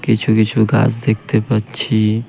কিছু কিছু গাছ দেখতে পাচ্ছি।